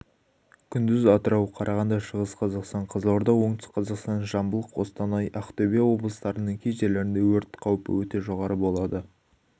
күндіз атырау қарағанды шығыс қазақстан қызылорда отүстік қазақстан жамбыл қостанай ақтөбе облыстарының кей жерлерінде өрт қаупі өте жоғары болады